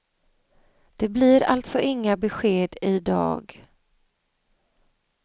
Det blir alltså inga besked i dag.